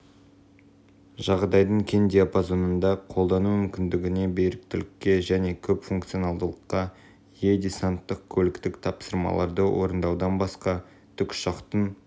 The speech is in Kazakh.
жағдайдың кең диапазонында қолдану мүмкіндігіне беріктілікке және көп функционалдылыққа ие десанттық-көліктік тапсырмаларды орындаудан басқа тікұшақтың